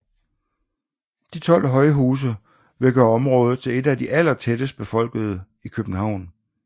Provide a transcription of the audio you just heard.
De 12 højhuse vil gøre området til et af de allertættest befolkede i København